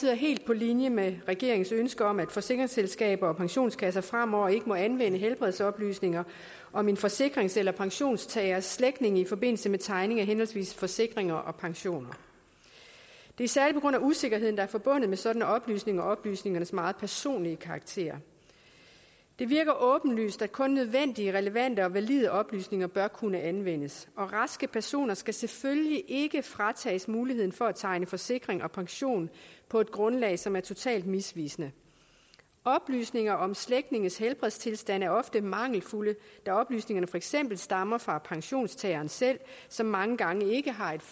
er helt på linje med regeringens ønske om at forsikringsselskaber og pensionskasser fremover ikke må anvende helbredsoplysninger om en forsikrings eller pensionstagers slægtninge i forbindelse med tegning af henholdsvis forsikringer og pensioner det er særlig på grund af usikkerheden der er forbundet med sådan nogle oplysninger og oplysningernes meget personlige karakter det virker åbenlyst at kun nødvendige relevante og valide oplysninger bør kunne anvendes raske personer skal selvfølgelig ikke fratages muligheden for at tegne forsikring og pension på et grundlag som er totalt misvisende oplysninger om slægtninges helbredstilstand er ofte mangelfulde da oplysningerne for eksempel stammer fra pensionstageren selv som mange gange ikke har et